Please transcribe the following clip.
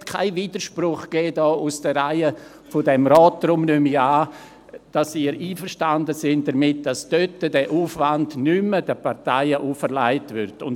Es gab keinen Widerspruch aus den Reihen dieses Rates, deshalb nehme ich an, dass Sie damit einverstanden sind, dass dieser Aufwand den Parteien nicht mehr auferlegt werden soll.